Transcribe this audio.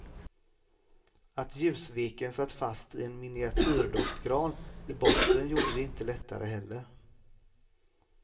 Att ljusveken satt fast i en miniatyrdoftgran i botten gjorde det inte lättare heller.